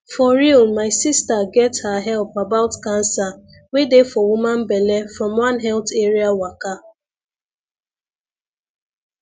for real my sister get her help about cancer wey dey for woman belle from one health area waka